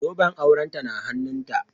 Zoben aurenta na hannunta